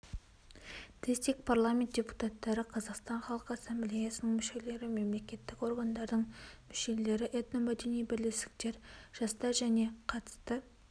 дэсик парламент депутаттары қазақстан халқы ассамблеясының мүшелері мемлекеттік органдардың мүшелері этномәдени бірлестіктер жастар және қатысты